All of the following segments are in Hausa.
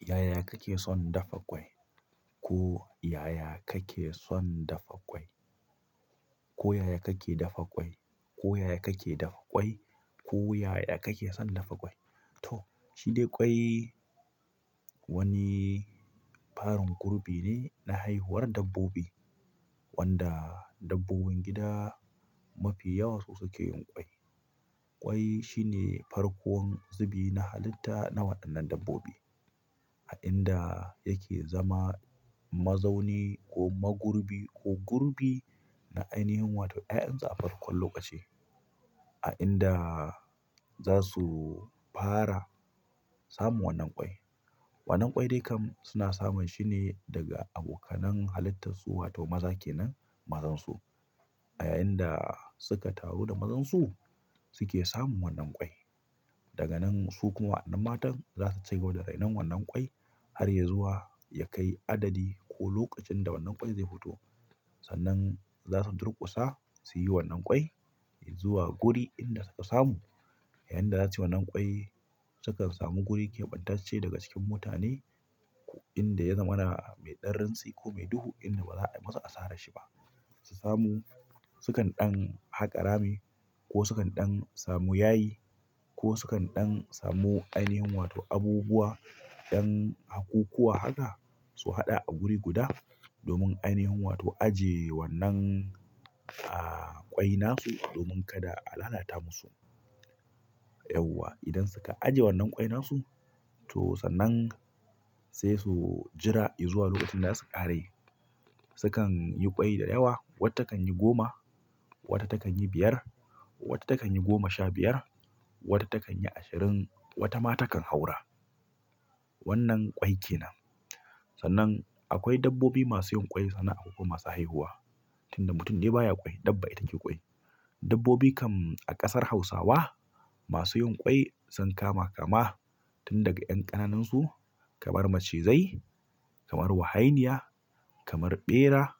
Yaya kake son dafa ƙwai? Ko yaya kake son dafa ƙwai? Ko yaya kake dafa ƙwai? Ko yaya kake dafa ƙwai? Ko yaya kake son dafa ƙwai? To, shi dai ƙwai wani farin kurbi ne na haihuwar dabbobi wanda dabbobin gida mafi yawa su suke yin ƙwai. Ƙwai shine farkon zubi na halitta na waɗannan dabbobi a inda yake zama mazauni ko magurbi ko gurbi na ainihin wato ƴaƴan sa a farko lokaci a inda za su fara samun wannan ƙwai. Wannan ƙwai dai kam suna samun shine daga abokanen halittarsu wato maza kenen mazansu. A yayin da suka taru da mazansu suke samun wannan ƙwai. Daga nan su kuma waɗannan matan za su cigaba da rainon wannan ƙwai har ya zuwa ya kai adadi ko lokacin da wannan ƙwai zai huta. Sannan za su durkusa su yi wannan ƙwai zuwa guri inda suka samu. Yayinda za su yi wannan ƙwai sukan samu guri keɓantacce daga cikin mutane inda ya zama na mai daransi ko mai duhu inda ba za, ba su a sare shi ba. Su samu sukan ɗan haƙa rami ko sukan ɗan samu yayi ko sukan ɗan samu ainihin wato abubuwa ɗan hakku kuwa haka su haɗa a guri guda domin ainihin wato ajiye wannan, ah, ƙwai nasu domin kada a lalata musu. Yauwa. Idan suka ajiye wannan ƙwai nasu to sannan sai su jira izuwa lokacin da zasu ƙaray. Sukan yi ƙwai da yawa. Wata takanyi goma wata takanyi biyar wata takanyi goma sha biyar wata takanyi ashirin watama takan haura. Wannan ƙwai kenan. Sannan akwai dabbobi masu yin ƙwai sannan akwai masu haihuwa. Tunda mutum dai baya ƙwai dabba ita ke ƙwai. Dabbobi kam a ƙasar Hausawa masu yin ƙwai sun kama kama. Tun daga ƴan ƙananansu kamar macizai, kamar wahainiya, kamar ɓera,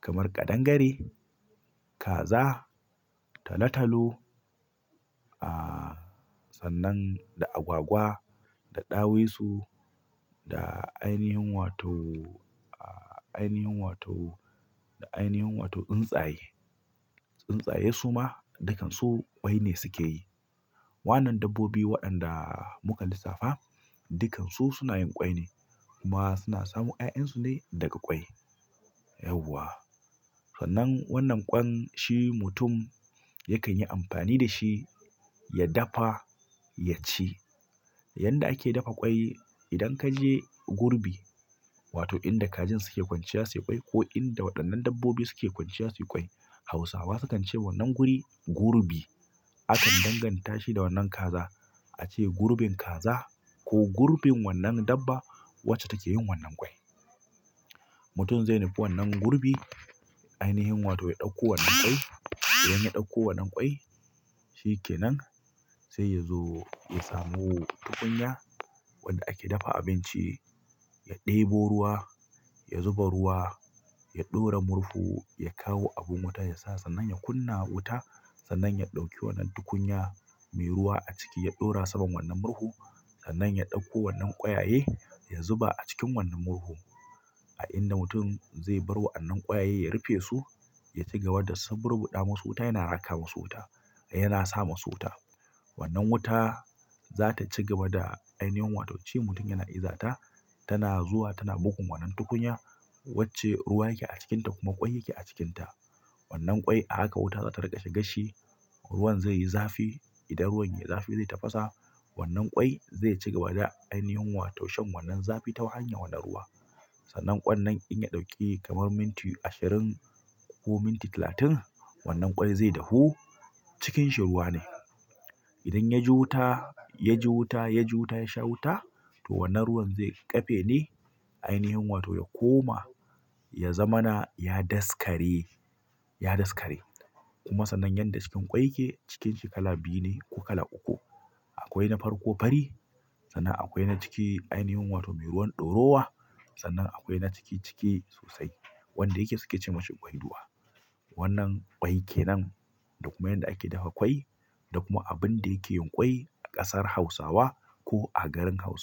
kamar ƙadangare, kaza, talatalo. Ah, sannan da agwagwa, da ɗawisu, da ainihin wato, ah, ainihin wato, da ainihin wato tsuntsaye. Tsuntsaye su ma dukansu ƙwai ne suke yi. Wannan dabbobi waɗanda muka lissafa dukansu suna yin ƙwai ne kuma suna samun ƴaƴansu ne daga ƙwai. Yauwa. Sannan wannan ƙwan shi mutum yakan yi amfani da shi ya dafa ya ci. Yanda ake dafa ƙwai idan ka je gurbi wato inda kajin suke kwanciya su yi ƙwai ko inda waɗannan dabbobi suke kwanciya su yi ƙwai Hausawa sukan ce wannan guri gurbi. Akan danganta shi da wannan kaza. A ce gurbin kaza ko gurbin wannan dabba wacce take yin wannan ƙwai. Mutum zai nufi wannan gurbi ainihin wato ya ɗauko wannan ƙwai. Idan na ɗauko wannan kwai shikenan sai yazo ya sami tukunya wadda ake dafa abinci. Ya ɗebo ruwa, ya zuba ruwa, ya ɗora murhu, ya kawo abin wuta ya sa sannan ya kunna wuta sannan ya ɗauki wannan tukunya mai ruwa a ciki ya ɗora saman wannan murhu sannan ya ɗauko wannan ƙwayaye ya zuba a cikin wannan murhu. A inda mutum zai bar wa wannan ƙwayaye ya rufe su ya cigaba da suburbuɗa musu ɗamu su wuta yana raka musu wuta yana sama su wuta. Wannan wuta za ta cigaba da ainihin wato ci mutum yana iza ta tana zuwa tana bugun wannan tukunya wacce ruwa yake a cikinta kuma ƙwai yake a cikinta. Wannan ƙwai a haka wuta za ta riƙa shigasshi ruwan zai yi zafi. Idan ruwan yayi zafi zai tafasa wannan ƙwai zai cigaba da ainihin wato shan wannan zafi ta hanyar wannan ruwa. Sannan ƙwan nan in ya ɗauke kamar minti ashirin ko minti talatin wannan ƙwai zai dahu cikin shi ruwa ne. Idan ya ji wuta, ya ji wuta, ya ji wuta ya sha wuta to wannan ruwan zai ƙafe ne ainihin wato ya koma ya zama na ya daskare, ya daskare. Kuma sannan yanda cikin ƙwai ke cikanshi kala biyu ne ko kala uku. Akwai na farko fari sannan akwai na ciki ainihin wato mai ruwan ɗorowa sannan akwai na ciki ciki sosai wanda yake suke ce masa ƙwai dowa. Wannan ƙwai kenan. Da kuma yanda ake dafa ƙwai da kuma abinda yake yin ƙwai a ƙasar Hausawa ko a garin Hausawa.